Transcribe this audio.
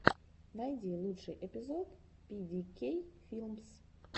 найди лучший эпизод пи ди кей филмс